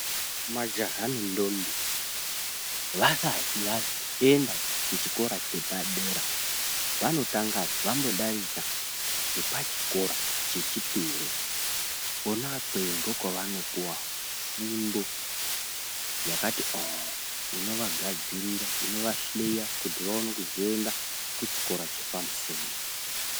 Majaha nendombi vasati vazoenda kuchikora chepadera vanotanga vambodarika ngepachikora chechipiri kwona ikweyo ndokwavanopuwa fundo yakati oo inovagadzirira inovahleya kuti vaone kuzoenda kuchikora chepamusoro.